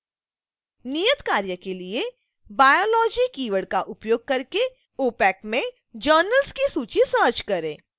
नियतकार्य के लिए